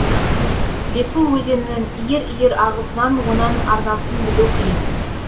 лефу өзенінің иір иір ағысынан оның арнасын білу қиын